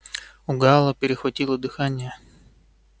у гаала перехватило дыхание